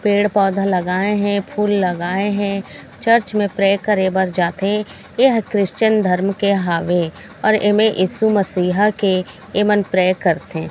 पेड़ पौधे लगाए है फूल लगाए है चर्च में प्रे करे बर जाथे एह क्रिश्चिन धर्म के हावे और एमे इशु मसीहा के एमन प्रे करथे।